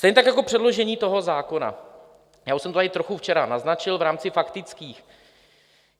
Stejně tak jako předložení toho zákona, já už jsem to tady trochu včera naznačil v rámci faktických.